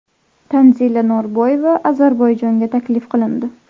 Tanzila Norboyeva Ozarbayjonga taklif qilindi.